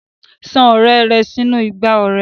San ọrẹ rẹ sínú igbá ọrẹ.